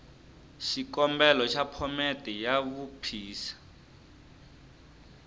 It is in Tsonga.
xikombelo xa phomete ya vuphisa